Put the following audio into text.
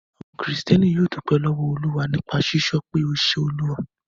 Àwọn Kìrìtẹ́ẹ́nì yóò dúpẹ́ lọ́wọ́ Olúwa nípa sísọ pé 'O ṣe Olúwa'.